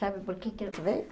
Sabe por que quer ver?